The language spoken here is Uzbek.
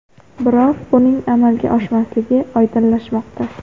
Biroq buning amalga oshmasligi oydinlashmoqda.